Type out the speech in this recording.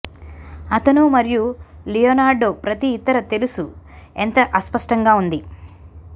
అతను మరియు లియోనార్డో ప్రతి ఇతర తెలుసు ఎంత అస్పష్టంగా ఉంది